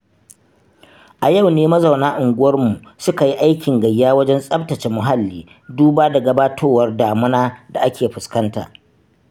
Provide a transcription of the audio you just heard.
A yau ne mazauna unguwanni suka yi aikin gayya wajen tsabtace muhalli duba da gabatowar damuna da ake fuskanta.